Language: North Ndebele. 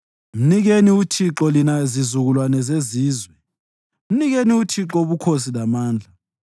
Mnikeni uThixo, lina zizukulwane zezizwe. Mnikeni uThixo ubukhosi lamandla.